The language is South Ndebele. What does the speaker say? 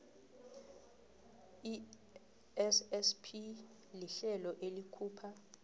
issp lihlelo elikhupha